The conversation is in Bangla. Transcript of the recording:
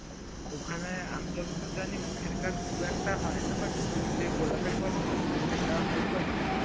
ওখানে আমি যতদূর জানি মুখের কাজ খুব একটা হয়না but তুই যেই গোলাপের কথা বলছিলিস সেটা হয়তো হয়